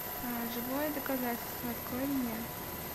живое доказательство открой мне